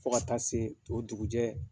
Fo ka taa se o dugujɛ